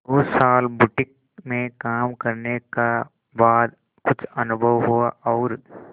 दो साल बुटीक में काम करने का बाद कुछ अनुभव हुआ और